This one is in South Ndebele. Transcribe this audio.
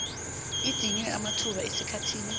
idinywe amathuba esikhathini